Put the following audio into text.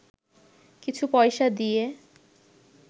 কিছু পয়সা দিয়ে